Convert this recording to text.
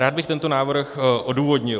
Rád bych tento návrh odůvodnil.